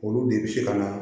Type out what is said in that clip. Olu de bɛ se ka na